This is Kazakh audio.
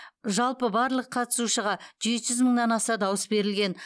жалпы барлық қатысушыға жеті жүз мыңнан аса дауыс берілген